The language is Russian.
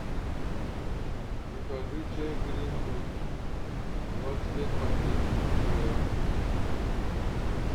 закажи чай гринфилд двадцать пять пакетиков пуэр